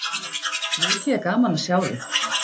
Mikið er gaman að sjá þig.